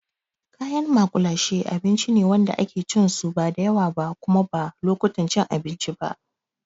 Kayan maƙulashe abinci ne wanda ake cin su ba da yawa ba kuma ba lokutan cin abinci ba.